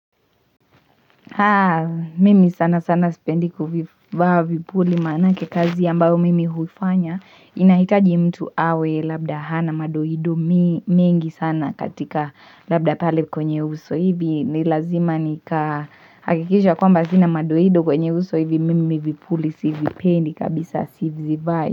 Haa, mimi sana sana sipendi kuvivaa vipuli maanake kazi ambayo mimi huifanya inahitaji mtu awe labda hana madoido mengi sana katika labda pale kwenye uso hivi. Ni lazima nikahakikisha kwamba sina madoido kwenye uso hivi mimi vipuli sivipendi kabisa sizivai.